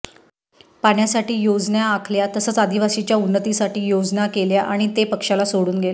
पाण्यासाठी योजना आखल्या तसंच आदिवासीच्या उन्नतीसाठी योजना केल्या आणि ते पक्षाला सोडून गेले